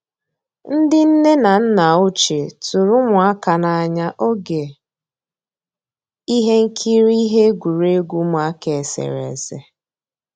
Ndị́ nnè ná nná òchíé tụ̀rụ̀ ụmụ́àká n'ànyá ògé íhé nkírí íhé égwurégwu ụmụ́àká éséréésé.